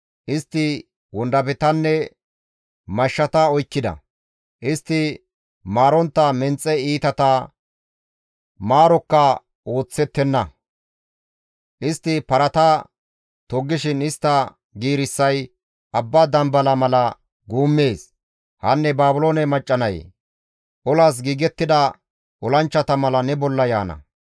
Istti wondafetanne mashshata oykkida; istti maarontta menxe iitata, maarokka ooththettenna; istti parata toggishin istta giirissay abba dambala mala guummees; hanne Baabiloone macca nayee! olas giigettida olanchchata mala ne bolla yaana.